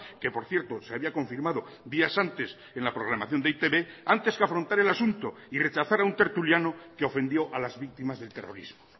que por cierto se había confirmado días antes en la programación de e i te be antes que afrontar el asunto y rechazar a un tertuliano que ofendió a las víctimas del terrorismo